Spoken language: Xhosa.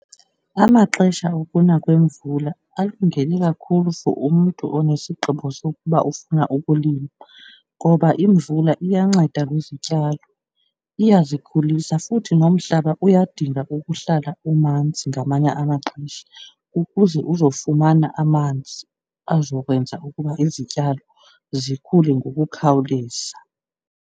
Amaxesha okuna kwemvula alungele kakhulu for umntu onesigqibo sokuba ufuna ukulima ngoba imvula iyanceda kwizityalo, iyazikhulisa futhi nomhlaba uyadinga ukuhlala umanzi ngamanye amaxesha, ukuze uzofumana amanzi azokwenza ukuba izityalo zikhule ngokukhawuleza.